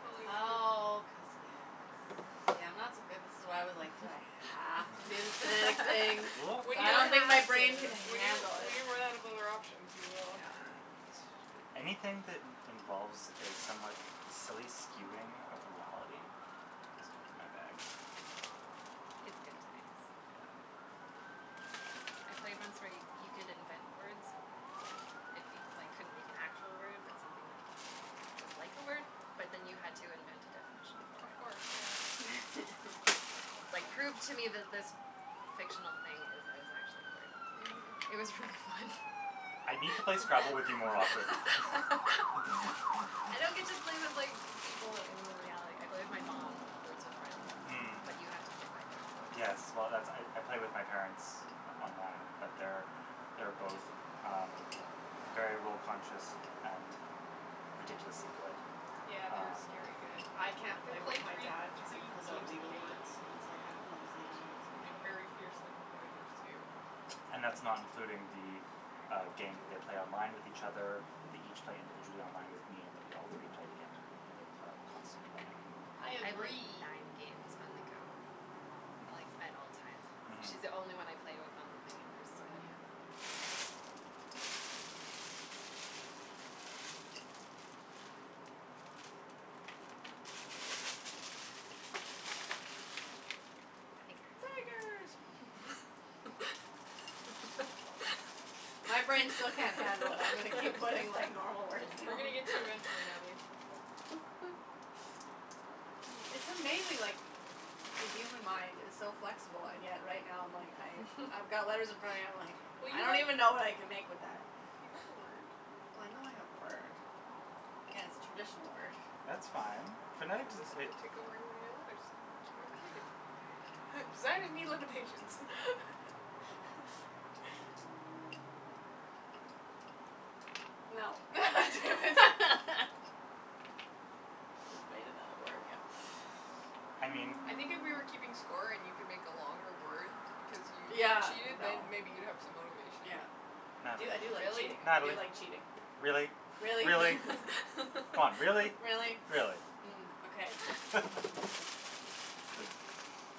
Totally winter. Oh, cuz, yes. See, I'm not so good. This is why I was like, do I have to do the phonetic thing? We When I you're don't don't think my have brain can to. When you handle when it. you run out of other options, you will. Yeah. a bit. Anything that in- involves a somewhat silly skewing of reality is totally my bag. It's good times. Yeah. I played once where you could invent words if you, like, couldn't make an actual word but something that was like a word, but then you had to invent a definition for Of it. course, yeah. Like, prove to me That's fun. that this fictional thing is is actually a word. It Mhm. was really fun. I need to play Scrabble with you more often. I don't get to play with, like, people in reality. I play with my mom, Words With Friends, Mm. but you have to play by their rules. Yes. Well, that's I I play with my parents on- online, but they're, they're both, um, very rule conscious and ridiculously good. Yeah, they're Ah. Um scary good. I can't They play with play my three dad cuz he three pulls out games a legal day. words and it's like, I don't know Oh, these legal my words. gosh. And they're very fiercely competitives, too. And that's not including the, uh, game that they play online with each other, that they each play individually online with me and that we all three play together that are constantly running. I I have, like, agree. nine games on the go with my mom, Hmm. like, at all times. Mhm. She's the only one I play with on the thing and there's so many of them. Tigers. Tigers. My brain still can't handle it. I'm gonna keep putting like normal words We're gonna down. get to you eventually, Natalie. It's amazing, like, the human mind is so flexible, and yet right now I'm like I I've got letters in front of me, I'm like Well, I you don't even when know what I can make with that. You got a word. Well, I know I have a word. Yeah, it's a traditional word. That's fine. Phonetic doesn't Just it gonna take your letters, make you more creative. Designers need limitations. Mm. No. Damn it. I just made another word, yeah. I mean I think if we were keeping score and you can make a longer word because you Yeah, cheated, then no. maybe you'd have some motivation. Yeah. I do I do like Natalie. Really? cheating, I Natalie, do like cheating. really? Really? Really? Come on, really? Really? Really? Mm, okay.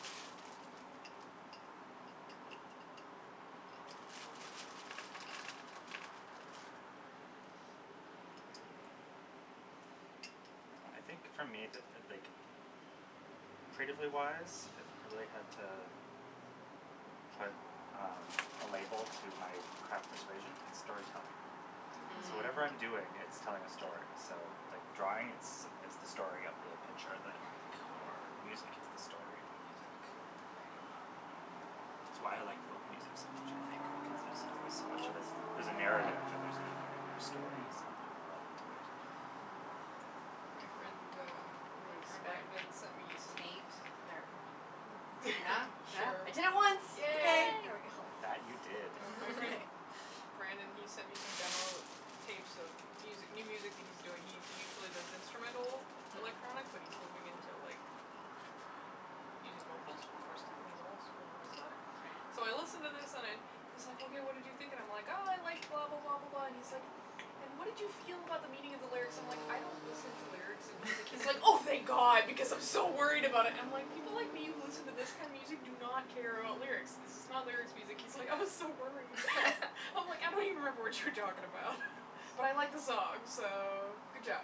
Mm. Mm. Well, I think for me, the like, creatively wise, if I really had to put, um, a label to my craft persuasion, it's storytelling. So whatever I'm Mm. doing, Mm. it's Mm. telling a story. So, like, drawing, it's it's the story of the picture that I like or music it's the story of the music. Um, Right. it's why I like folk music so much, I think, because there's always so much All of the it. story There's a narrative and there's meaning in their stories and there's a world to it. Mm. Um My friend, um, my friend Brandon sent me some Taint. There. Yeah? Yeah? I did it Sure. once. Okay, Yay. Yay. there we go. That, you did. Uh my friend Brandon, he sent me some demo tapes of music new music that he's doing. He he usually does instrumental Mm. electronic, but he's moving into, like, um, using vocals for the first time and he's all super nervous about it. So I Right. listen to this and I'm he's like, hey, what did you think, and I'm like, I like blah, blah, blah, blah, blah, and he's like, and what did you feel about the meaning of the lyrics? So I'm, like, I don't listen to lyrics in music. He's like, oh, thank god because I'm so worried about it. I'm like, people like me who listen to this kind of music do not care about lyrics, this is not lyrics music. He's like, I was so Yeah. worried. I'm like, I don't even remember what you were talking about, but I like the song, so, good job.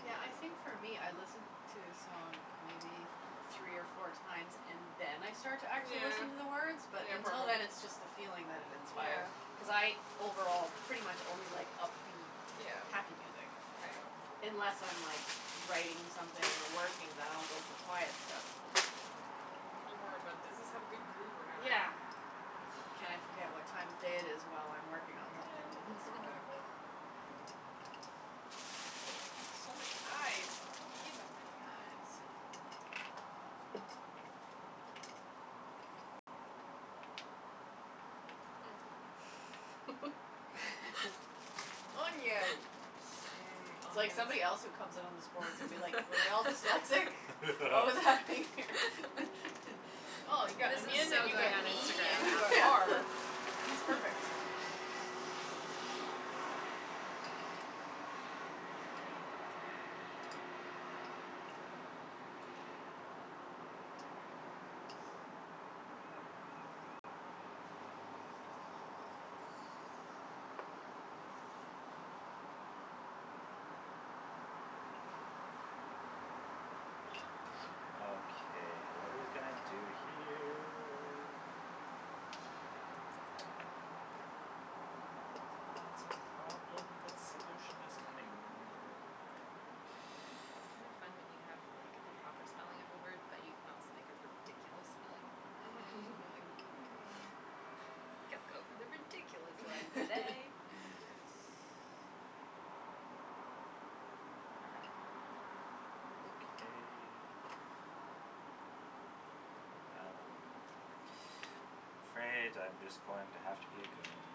Yeah, I think for me I listen to a song maybe three or four times and then I start to actually Yeah. listen to the words, but Yeah, until probably. then it's just the Mhm. feeling that it inspire. Yeah. Cuz I overall pretty much only like upbeat, Yeah. happy music, Right. Yeah. unless I'm like writing something or working, then I'll go for quiet stuff, but you know. Yeah. You're more about does this have a good groove or not? Yeah. Can I forget what time of day it is while I'm working on something Yeah, with this song. exactly. Look at that. So many i's. I don't need that many i's. Onion. Onion. Mmm, It's like onions. somebody else who comes in on this board is gonna be like, were they all dyslexic? What was happening here? Oh, you got This is onion so and you got going on knee Instagram and you got afterwards. are. That's perfect. Okay, what are we gonna do here? It's a problem that solution is coming near. It's kind of fun when you have, like the proper spelling of a word but you can also make a ridiculous spelling of the word. Mhm, you're like, hmm. I think I'll go for the ridiculous one today. Yes. Okay. Well, I'm afraid I'm just going to have to be a goon.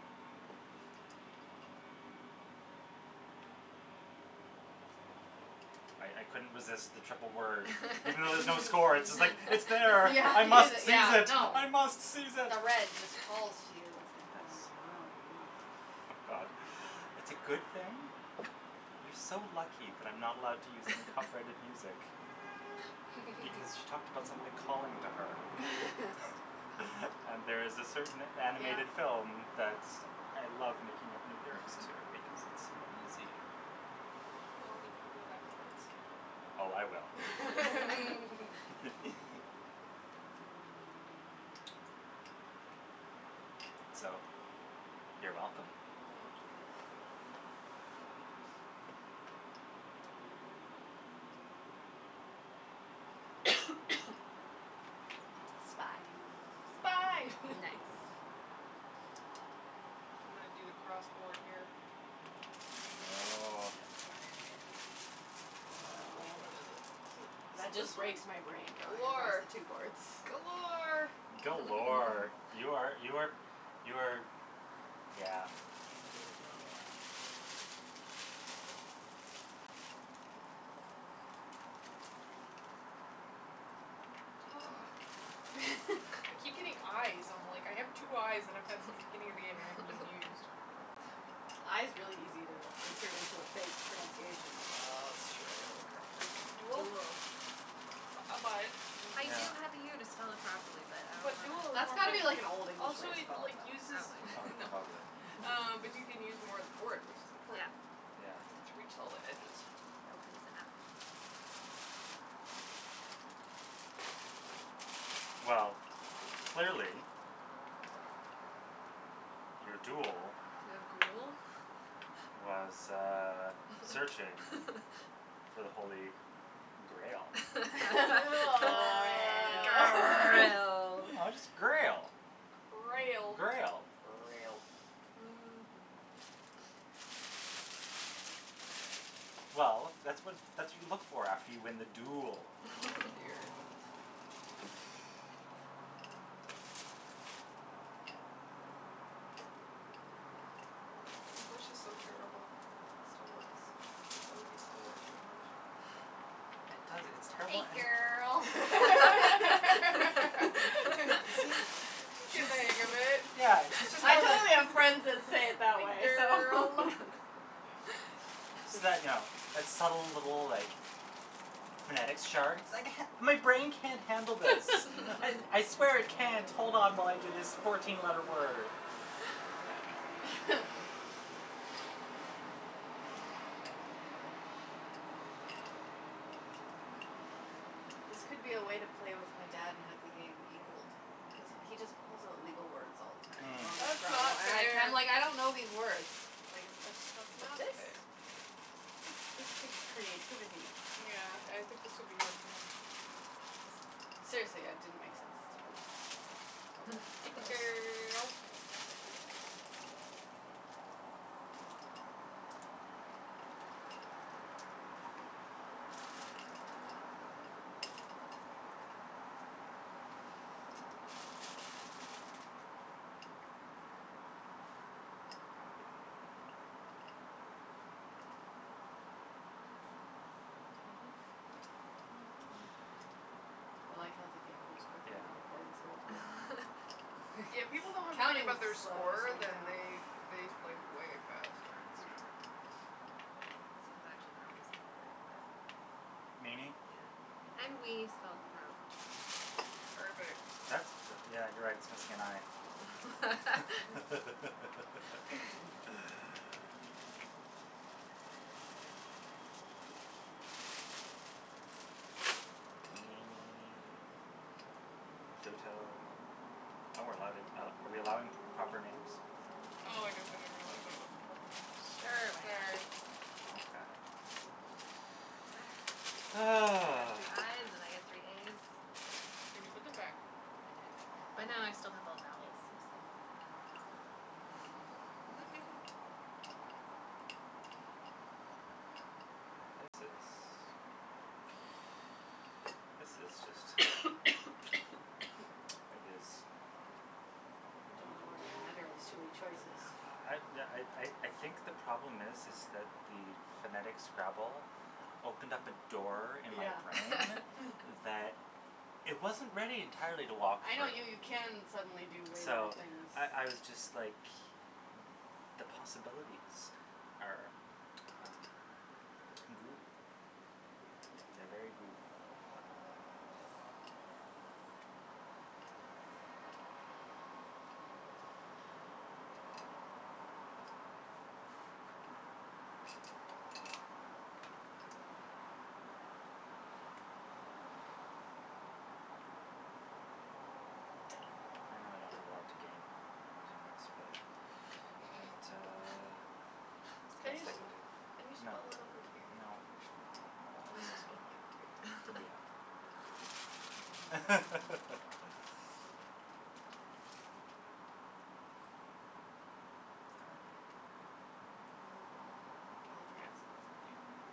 Sounds good. I I couldn't resist the triple word. Even though there's no score, it's like, it's there, Yeah, I must seize yeah, it, no. I must seize it. No, red just calls you, it's like Yes. God, it's a good thing. You're so lucky that I'm not allowed to use any copyrighted music because she talked about something calling to her. And there's a certain Yeah. animated film that's I love making up new lyrics to because it's so easy. Well, we can do it afterwards. Oh, I will. Mm. So, you're welcome. Oh, dear. Spy. Spy. Mm. Nice. I'm gonna do the cross board here. Oh. Go for it. Wh- which Woah. one is it? Is it is That it this just one? breaks my brain going across Galore. the two boards. Galore. Galore. You are you are you are yeah, Beautiful. yeah. Ah. I keep getting i's. I'm, like, I have two i's that I've had since the beginning of the game that I haven't even used. I is really easy to insert into a fake pronunciation, though. That's true. I gotta work harder. Duel? Duel. I bu- I buy it. I Yeah. do have the u to spell it properly, but I But duel don't is That's more got to fun. be wanna. like an Old English way Also, to it spell like it, uses though. Probably. Oh, No, totally. um, but you can use more of the board, which is Yeah. important. Yeah. To reach all the edges. Opens it up. Well, clearly your duel was, uh, searching for the holy grail. Oh. Grail. No, just grail. Grail. Grail. Grail. Mhm. Well, that's what that's what you look for after you win the duel. Oh, dear. English is so terrible. It still works. All of these still work in English. It does, it's Hey, terrible and girl. You see, She's getting she's the hang of it. Yeah, she's just I kind of totally have friends that say it that way, so Girl. So you know, that subtle little, like, phonetics chart. My brain can't handle this. I I swear it can't hold on while I do this fourteen letter word. Yeah, no. This could be a way to play with my dad and have the game equalled cuz he just pulls Mm. out legal words all the time in Mm. normal That's Scrabble not and I'm like, fair. I'm like I don't know these words. Like, it's That's not specific. fair. This takes creativity. Yeah, I think this would be hard for him. Yeah. Seriously, it didn't make sense to me the first couple Hey, go's. girl. I like how the game goes quickly Yeah. when you play this way, too. Yeah, when people don't have to think Counting about their just slows score, things then down. they they play way faster. That's That's Yeah. true. true. This one's actually probably spelled right, but I don't know. Meanie. Yeah, and wee spelled wrong. Perfect. That's the, yeah, you're right, it's missing an i. Meanie. Pluto. Oh, we're allowing are we're allowing p- proper names? Oh, I guess I didn't realize that was a proper name. Sure, why not? Sorry. Okay. I got Ah. three i's and I got three a's. Did you put them back? I did, Mm. but now I still have all vowels, so Woohoo. This is This is just It is Don't know where to add, or there's too many choices? I yeah I I I think the problem is is that the phonetic Scrabble opened up a door in my Yeah. brain Mm. that it wasn't ready entirely to walk I through. know, you you can suddenly do way more So, things. I I was just, like, the possibilities are, um, goo. Hmm. They're very goo. Um Well. I know I don't have a lot to gain from using this, but it, uh, it's the Can best you I just can do. can you No. spell it over here? No. Okay. I guess I'll spell mine over here. Yeah. Sorry, babe. Mm. I'll try to spell something over there.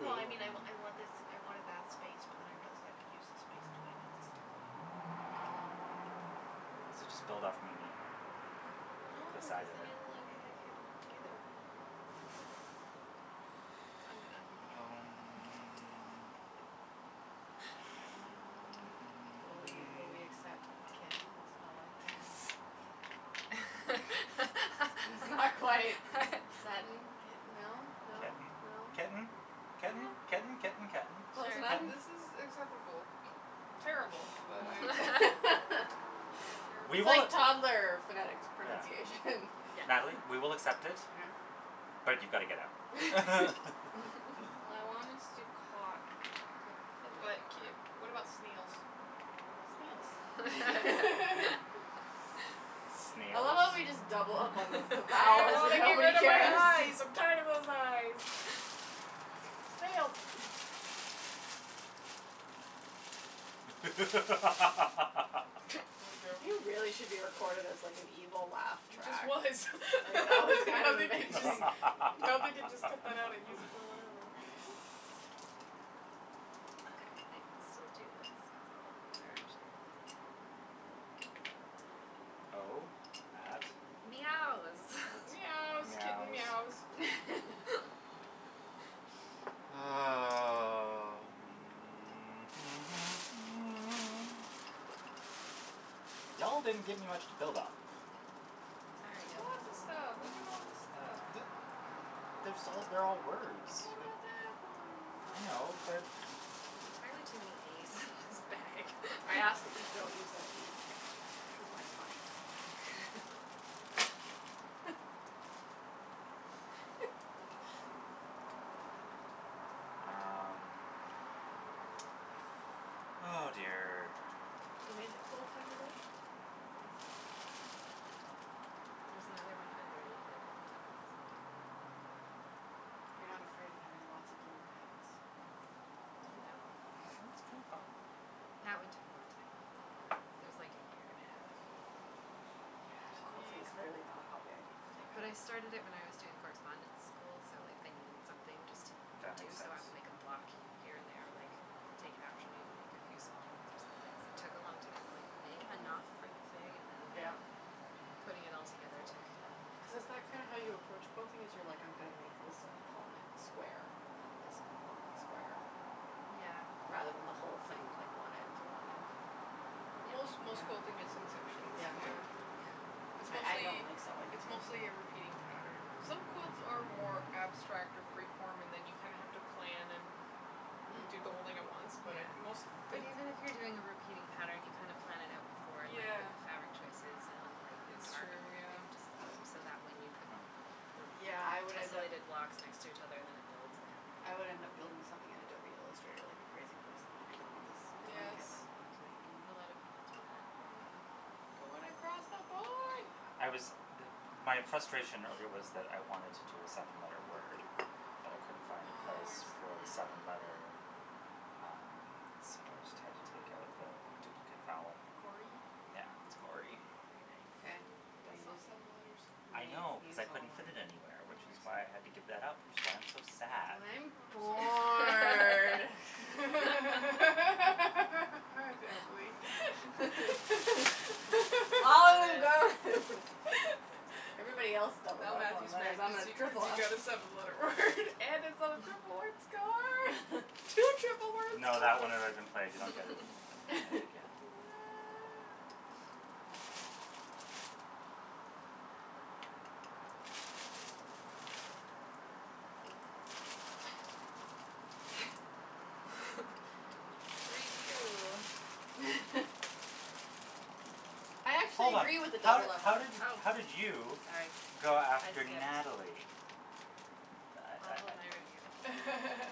No, I mean, I I want this, I wanted that space but then I realized I could use this space, too. I need this e. So just build off meanie, No, the cuz side of then it. it'll, like, it can't work, either. I'm I'm being Um a Will we will we accept kitten spelled like this? That's not quite. Sudden, kitten, no, no, Kitten, no? ketten, Yeah. ketten, ketten, ketten. Ketten. Sure. Close enough? Ketten. This is acceptable. Terrible, but I accept it. You're terrible. We It's will like toddler phonetics Yeah. pronunciation. Yes. Natalie, we will accept it, Yeah but you've got to get out. I wanted to to cotton, but I couldn't fit it But k anywhere. what about snails? Snails. I love Snails? how we just double up on the the I vowels want and to get nobody rid of my cares. i's. I'm tired of those i's. Snails. Oh, no. You really should be recorded as, like, an evil laugh He just track. was. Like, that was kind Now of they can just amazing. now they can just cut that out and use it for whatever. Okay, I can still do this cuz all of these are actually words. O at Meows. at Meows, kitten meows. meows. Um. Y'all didn't give me much to build off of. Sorry, There's yo. lots of stuff. Look at all this stuff. D- there's all they're all words. What about that one? I And that know, one but There's entirely too many a's in this bag. I ask that we don't use that d because I might find Um. Oh, dear. You made the quilt on your bed? Nice. There's another one underneath it that I also made. You're not afraid of having lots of little panels? No. Sounds kinda fun. That one took a long time, though. That was like a year and a half. Quilting clearly Mm. not a hobby I need to take up. But I started it when I was doing correspondence school, so like I needed something just to That do, makes so sense. I would make a block here and there, like, take an afternoon, make a few small ones or something. Took a long time to, like, make Mhm. Mhm. enough for the thing and then Yeah. putting it all Three, together took, four, Cuz yeah. is that five. kind of how you approach quilting, is you're like, I'm gonna make this component square and then this component square Yeah. rather than the whole thing, like, one end to one end? Yeah. Most most Yeah? school thing is in sections, Yeah. yeah. Yeah. It's I I don't mostly, like sewing, it's so mostly a repeating pattern. Some quilts are more abstract or freeform and then you kinda have to plan and do Mm. the whole thing at once, but I Yeah, most but even if you're doing a repeating pattern, you kind of plan it out before and, like, pick Yeah. the fabric choices and then lighten and It's dark and true, everything yeah. just so that when you put Hmm. the Yeah, I would end up tessolated blocks next to each other, then it builds the pattern. I would end up building something in Adobe Illustrator like a crazy person, like I did with this Yes. blanket my mom's making me. A lot of people do that. Yeah. Yeah. You're going across the board. I was m- my frustration earlier was that I wanted to do a seven letter word, but I couldn't find a Oh, I place see. for the seven letter, Oh. um, so I just had to take out the duplicate vowel. Gory? Yeah, it's gory. Very Okay, nice. I'm But gonna that's not use seven letters. I'm I gonna know u- cuz use I all couldn't mine. fit it anywhere, which is Oh, I why I had to see. give that up, which is why I'm so sad. And I'm bored. Oh, Natalie. All them are Good. gone. Everybody else doubled Now up on Matthew's letters. mad And I'm cuz gonna you cuz triple you up. got a seven letter word and it's on a triple word score. Two triple word No, that scores. one had already been played. You don't get it it it again. Yeah. Review. I actually Hold on, agree with the how did doubled up how Oh, letters. did how did you sorry. go I after skipped. Natalie? I I'll I I hold my review.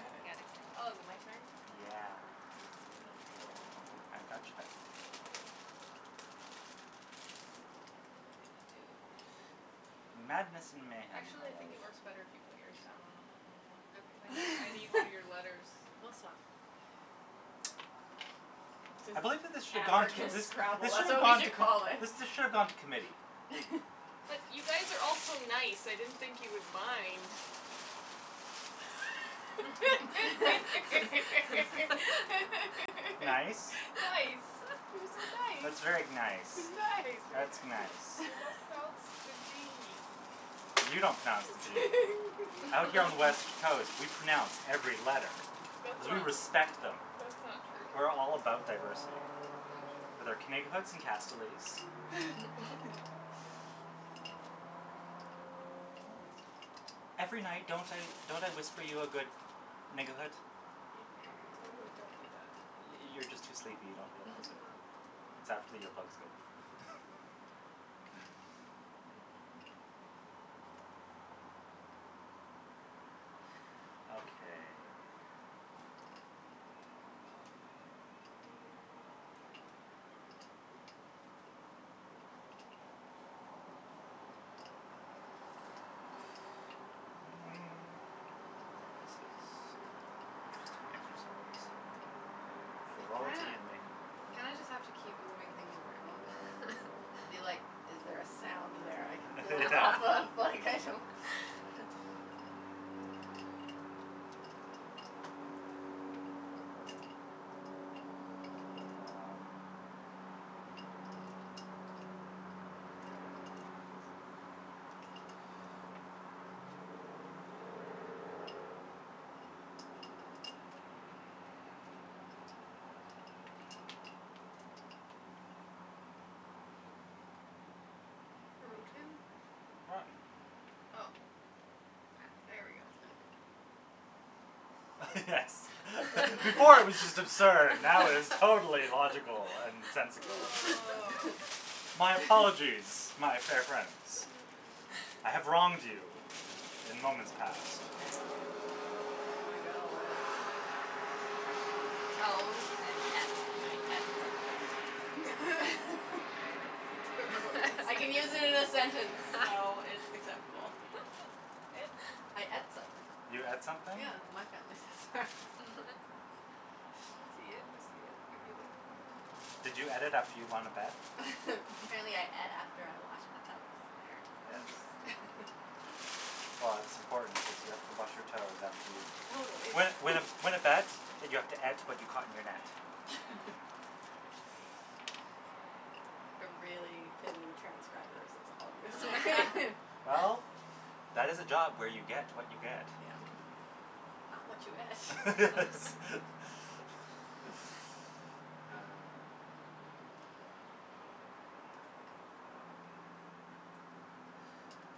I got Oh, is it my excited. turn? Yeah. Thanks, sweetie. You're welcome. I I got your back. Thank you. Oh, what am I gonna do? Madness and mayhem, my Actually, I think love. it works better if you put yours down when I put mine down. Cuz I need I need one Okay. of your letters. We'll swap. I believe that this should gone Anarchist this Scrabble, this should that's have what we gone t- should call it. this should have gone to committee. But you guys are all so nice, I didn't think you would mind. Nice. Nice, you're Nice. That's so very nice. nice. Nice. That's nice. You don't pronounce the d. You don't pronounce the zee. Out here on the west coast, we pronounce every letter That's cuz we not respect them. that's not We're all true. about That's diversity. not With true. our Every night, don't I don't I whisper you a good? You totally don't do that. You you're just too sleepy, you Ah, don't realize it. It's after probably. earplugs go. Okay. This is an interesting exercise in You kinda frivolity and mayhem. you kinda just have to keep moving things around Yeah and be like, is there a sound there I can build Yeah. off of? Like, I don't Um Broten? Rotten. Oh, Ah. there we go. That's better. Yes. Before it was just absurd. Now it is totally logical and sensical. Oh. My apologize, my fair friends. Mm. I have wronged you in moments past. Okay, I'm gonna go with toes and et. I et something. Very nice. I can use Toes. it in a sentence, so it's acceptable. I et something. You et Yeah. something? Yeah, my family says that. I see it, I see it, I give it. Did you et it after you won a bet? Apparently I et after I washed my toes, Yes. apparently. Well, it's important because you have to wash your toes after you Totally. Win win a win a bet, but you have to et to what you caught in your net. I really pity the transcribers, that's all I'm gonna say. Oh. Well, that is a job where you get what you get. Yeah. Not what you et. Ah.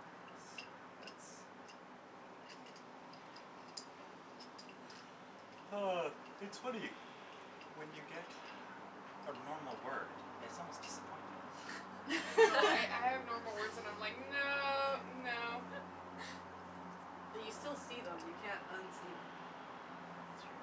Yes, it's Oh, it's funny. When you get a normal word, it's almost disappointing. I know. I I have normal words and I'm like, no, no. But you still see them. You can't unsee them. It's true.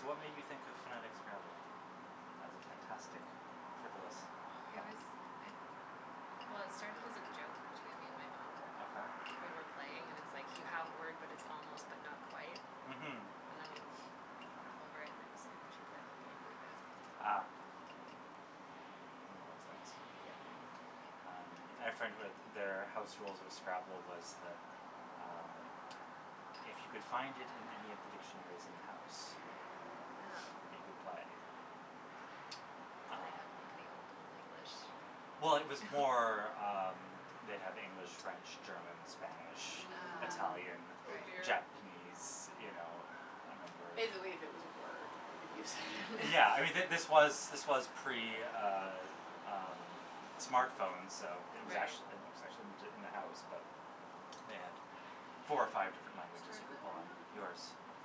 So, what made you think of phonetic Scrabble as a fantastic frivolous It fun? was I, well, it started as a joke between me and my mom. Okay. When we're playing and it's like you have a word but it's almost but not quite Mhm. and then you, like, laugh over and I was like, we should play a whole game like this. Ah. One of those things. Yeah. Yep. Um, I had a friend who had their house rules of Scrabble was that, um, if you could find it in any of the dictionaries in the house, you Oh. could play. Did they have, Um like, the Old Old English? Well, it was more, um, they'd have English, French, German, Spanish, Ah. Italian, Mm. Oh, Right. dear. Japanese, you know, a number If of they believe it was a word, you could use it. Yeah, I mean, th- this was this was pre, uh um, smartphones, so it was Right. ac- it was Mhm. actually in the house, but they had four or five Whose different languages turn you is it could pull right on. now? Yours.